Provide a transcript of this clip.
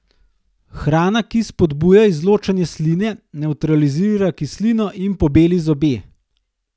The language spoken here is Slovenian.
Hrana, ki spodbuja izločanje sline, nevtralizira kislino in pobeli zobe.